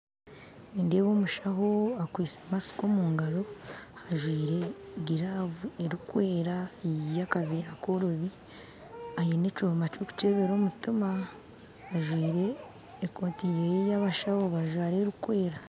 Nindeeba omushaaho akwitse masiki omugaro ajwire giravu erikwera ey'akaveera koroobi aine ekyoma ky'okukyebeera omutima ajwire ekooti ye ey'abashaaho bajwara erikwera